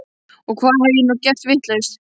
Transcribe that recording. Og hvað hef ég nú gert vitlaust?